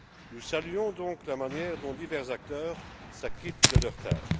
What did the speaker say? Nous saluons donc la manière dont divers acteurs s'acquittent de leurs tâches.